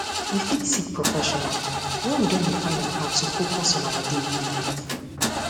we fit seek professional when we don dey find am hard to focus on our daily life